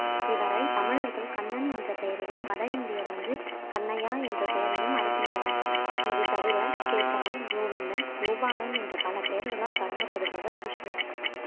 இவரை தமிழர்கள் கண்ணன் என்ற பெயரிலும் வட இந்தியர் வந்து கண்ணையா என்ற பெயரிலும் அழைக்கின்றனர் இது தவிர கேசவன் கோவிந்தன் கோபாலன் என்ற பல பெயர்களால் வழங்கப்படுபவர் கிருஷ்ணன்